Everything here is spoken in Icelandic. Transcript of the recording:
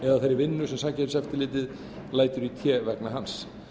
eða þeirri vinnu sem samkeppniseftirlitið lætur í té vegna hans